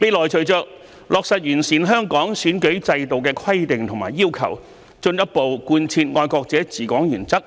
未來隨着落實完善香港選舉制度的規定和要求，進一步貫徹"愛國者治港"原則，